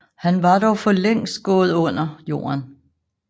Han var dog for længst gået under jorden